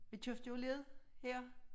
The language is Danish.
Vi købte jo led her